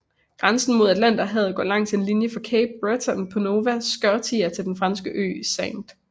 Grænsen mod Atlanterhavet går langs en linje fra Cape Breton på Nova Scotia til den franske ø St